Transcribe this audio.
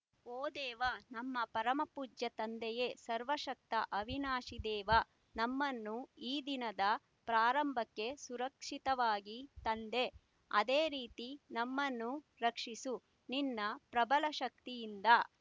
ಓ ದೇವಾ ನಮ್ಮ ಪರಮ ಪೂಜ್ಯ ತಂದೆಯೇ ಸರ್ವಶಕ್ತ ಅವಿನಾಶಿ ದೇವಾ ನಮ್ಮನ್ನು ಈ ದಿನದ ಪ್ರಾರಂಭಕ್ಕೆ ಸುರಕ್ಷಿತವಾಗಿ ತಂದೆ ಅದೇ ರೀತಿ ನಮ್ಮನ್ನು ರಕ್ಷಿಸು ನಿನ್ನ ಪ್ರಬಲ ಶಕ್ತಿಯಿಂದ